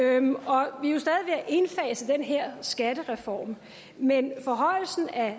indfase den her skattereform men forhøjelsen af